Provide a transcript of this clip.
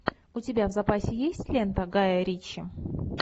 у тебя в запасе есть лента гая ричи